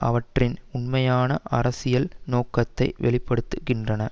அவற்றின் உண்மையான அரசியல் நோக்கத்தை வெளி படுத்துகின்றன